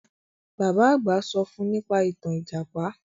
Bàbá àgbà sọ fún nípa ìtàn Ìjàpá